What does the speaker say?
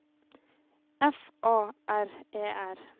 F A R E R